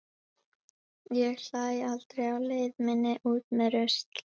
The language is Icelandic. Ég hlæ aldrei á leið minni út með rusl.